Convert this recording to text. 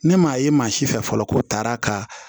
Ne m'a ye maa si fɛ fɔlɔ ko taara ka